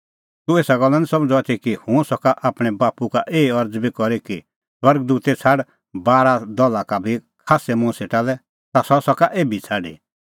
तूह एसा गल्ला निं समझ़दअ आथी कि हुंह सका आपणैं बाप्पू का एही अरज़ बी करी कि स्वर्ग दूते छ़ाड बारा दला का बी खास्सै मुंह सेटा लै ता सह सका एभी छ़ाडी